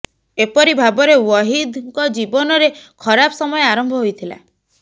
ଏପରି ଭାବରେ ୱହିଦଙ୍କ ଜୀବନରେ ଖରାପ ସମୟ ଆରମ୍ଭ ହୋଇଥିଲା